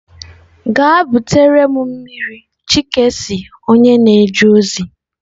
Gaa butere m mmiri chike si onye na-eje ozi.